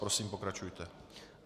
Prosím, pokračujte.